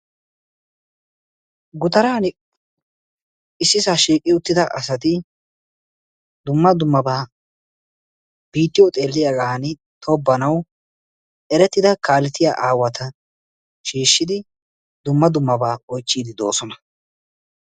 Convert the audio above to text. Gutaaran issisaa shiiqqi uttida asati dumma dummabaa biittiyoo xeelliyaagan tobbanawu erettida kaleetiyaa awaata shiishidi dumma dummabaa oychiidi de'oosona.